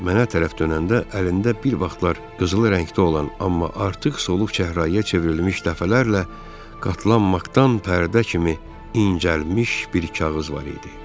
Mənə tərəf dönəndə əlində bir vaxtlar qızılı rəngdə olan, amma artıq soluq çəhrayıya çevrilmiş, dəfələrlə qatlanmaqdan pərdə kimi incəlmiş bir kağız var idi.